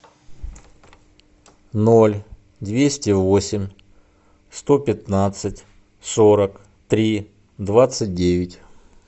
ноль двести восемь сто пятнадцать сорок три двадцать девять